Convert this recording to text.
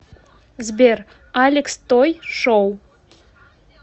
сбер алекс той шоу